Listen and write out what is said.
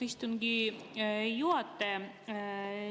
Austatud istungi juhataja!